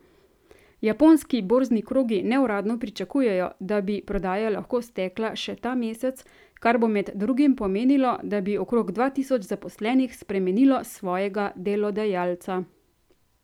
Japonski borzni krogi neuradno pričakujejo, da bi prodaja lahko stekla še ta mesec, kar bo med drugim pomenilo, da bi okrog dva tisoč zaposlenih spremenilo svojega delodajalca.